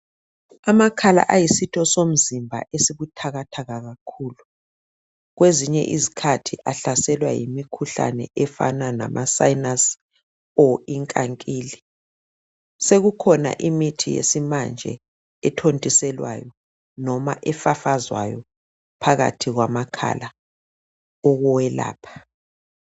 Amakhala ayisitho somzimba esibuthakathaka kakhulu kwezinye izikhathi ahlaselwa yimimkhuhlane efana lama sayinasi kumbe inkankili sekukhona imithi yesimanje ethontiselwayo kumbe efafazwayo phakathi kwamakhala ukuwelapha